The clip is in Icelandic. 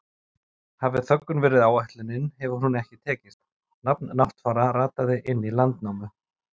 Hafi þöggun verið ætlunin hefur hún ekki tekist, nafn Náttfara rataði inn í Landnámu.